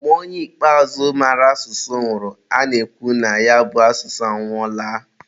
mgbe onye ikpeazụ mara asụsụ nwụrụ, a na-ekwu na ya bụ asụsụ anwụọla.